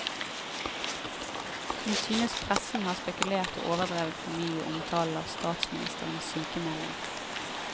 Hun synes pressen har spekulert og overdrevet for mye i omtalen av statsministerens sykemelding.